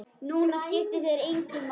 Núna skipta þeir mig engu.